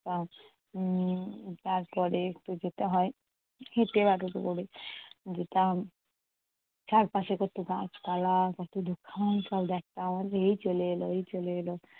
উম তারপরে একটু যেতে হয় হেঁটে যেতাম। চারপাশে কত গাছপালা, কত দোকান সব দেখতাম। এই চলে এল এই চলে এল।